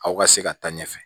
Aw ka se ka taa ɲɛfɛ